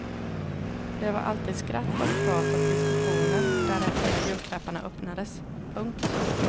Det var alltid skratt och prat och diskussioner därefter när julklapparna öppnades. punkt